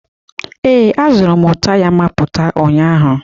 Ee, azụrụm taya mapụta ụnyaahụ.